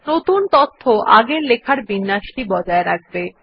নতুন তথ্য আগের লেখার বিন্যাসটি বজায় রাখবে